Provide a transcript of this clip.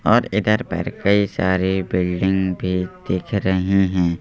और इधर पर कई सारी बिल्डिंग भी दिख रही हैं।